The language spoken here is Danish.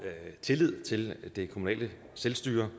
tillid til det kommunale selvstyre